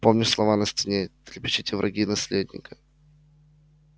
помнишь слова на стене трепещите враги наследника